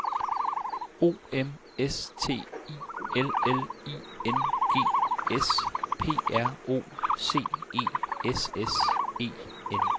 O M S T I L L I N G S P R O C E S S E N